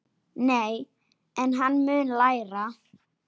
Nei, en hann mun læra.